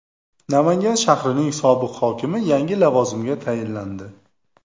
Namangan shahrining sobiq hokimi yangi lavozimga tayinlandi.